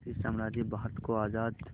British साम्राज्य भारत को आज़ाद